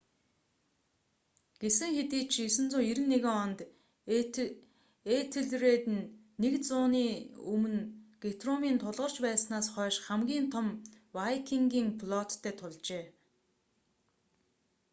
гэсэн хэдий ч 991 онд этельред нь нэг зууны өмнө гутрумын тулгарч байснаас хойших хамгийн том вайкингийн флоттой тулжээ